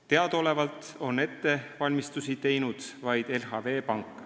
Teadaolevalt on ettevalmistusi teinud vaid LHV Pank.